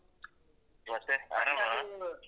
ಹಾಗೆ ಮತ್ತೆ ಆರಾಮವ?